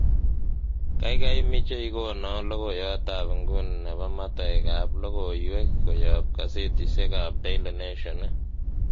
gaigai imiche igonon logoiyot ab inguni nepo motoek ab logoiwek koyob kasetisiek ab daily nation ii